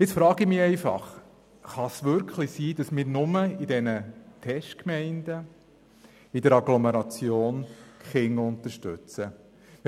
Ich frage mich nun, ob wir die Kinder nur in diesen Testgemeinden und in den Agglomerationen unterstützen wollen.